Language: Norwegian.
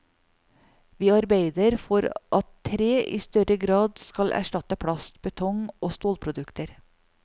Vi arbeider for at tre i større grad skal erstatte plast, betong og stålprodukter.